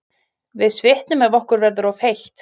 Við svitnum ef okkur verður of heitt.